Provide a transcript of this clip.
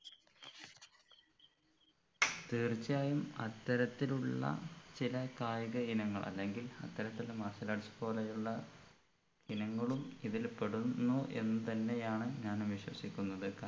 തീർച്ചയായും അത്തരത്തിൽ ഉള്ള ചില കായിക ഇനങ്ങൾ അല്ലെങ്കിൽ അത്തരത്തിൽ martial arts പോലെയുള്ള ഇനങ്ങളും ഇതിൽ പെടുന്നു എന്ന് തന്നെയാണ് ഞാനും വിശ്വസിക്കുന്നത്